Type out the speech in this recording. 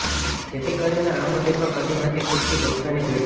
જેથી કરીને આ મંદિરમાં કદી નથી ખુટતી ભક્તોની ભીડ